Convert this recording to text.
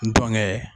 N dɔnkɛ